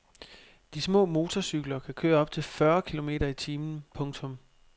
De små motorcykler kan køre op til fyrre kilometer i timen. punktum